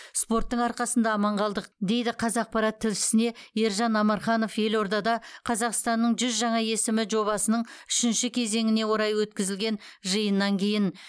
спорттың арқасында аман қалдық дейді қазақпарат тілшісіне ержан амарханов елордада қазақстанның жүз жаңа есімі жобасының үшінші кезеңіне орай өткізілген жиыннан кейін